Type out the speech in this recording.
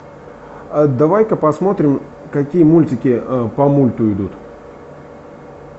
давай ка посмотрим какие мультики по мульту идут